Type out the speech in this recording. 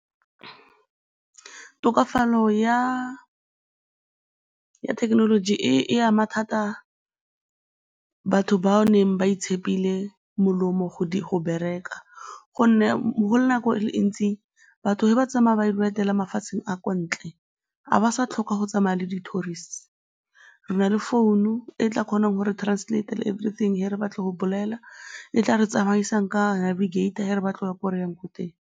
Tokafalo ya thekenoloji e ama thata batho bao neng ba itshepile molomo go bereka gonne go le nako e ntsi, batho fa ba tsamaya ba ile go etela mafatsheng a kwa ntle, ga ba sa tlhoka go tsamaya le di-tourists, re na le founu e tla kgonang go re translate-a everything fa re batle go bolela, e tla re tsamaisang ka fa re batla go ya ko re yang ko teng.